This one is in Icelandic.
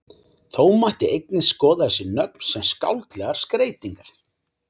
þó mætti einnig skoða þessi nöfn sem skáldlegar skreytingar